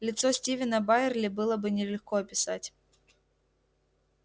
лицо стивена байерли было бы нелегко описать